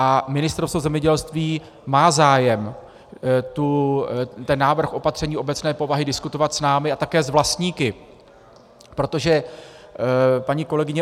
A Ministerstvo zemědělství má zájem ten návrh opatření obecné povahy diskutovat s námi a také s vlastníky, protože, paní kolegyně